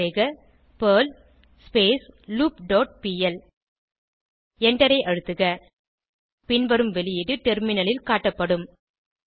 type செய்க Perl loop dot PL எண்டரை அழுத்துக பின்வரும் வெளியீடு டெர்மினலில் காட்டப்படும்